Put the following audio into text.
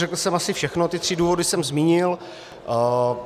Řekl jsem asi všechno, ty tři důvody jsem zmínil.